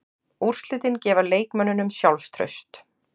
Úrslitin gefa leikmönnunum sjálfstraust.